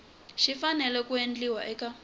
xi fanele ku endliwa eka